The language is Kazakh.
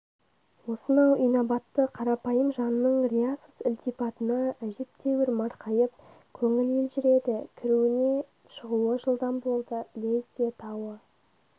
осынау инабатты қарапайым жанның риясыз ілтипатына әжептәуір марқайып көңіл елжіреді кіруінен шығуы жылдам болды ілезде тауы